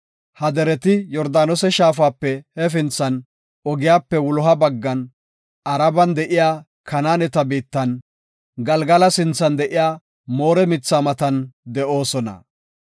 Ha zumate Yordaanose shaafape hefinthan ogiyape wuloha baggan, Araban de7iya Kanaaneta biittan, Galgala sinthan de7iya Moore mitha matan de7oosona.